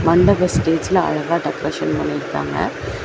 மண்டப ஸ்டேஜ்ல அழகா டெக்கரேஷன் பண்ணிர்காங்க.